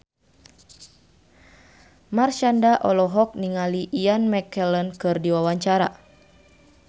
Marshanda olohok ningali Ian McKellen keur diwawancara